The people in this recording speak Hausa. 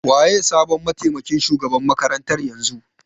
Waye sabon matemakin shugaban makarantar yanzu?